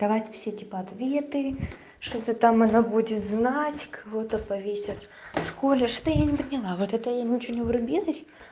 давать все типа ответы что-то там она будет знать кого-то повесят в школе что-то я не поняла вот это я ничего не врубилась